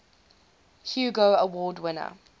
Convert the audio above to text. hugo award winner